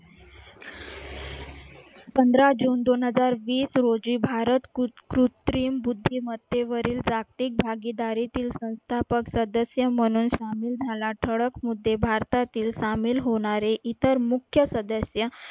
पंधरा जून दोन हजार वीस रोजी भारत कृत्रिम बुद्धिमत्तेवरील जागतिक भागीदारीतील संस्थापक सदस्य म्हणून सामील झाला. ठळक मुद्दे भारतातील सामील होणारे इतर मुख्य सदस्य